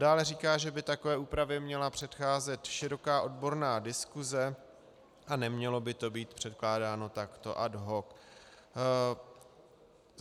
Dále říká, že by takové úpravě měla předcházet široká odborná diskuse a nemělo by to být předkládáno takto ad hoc.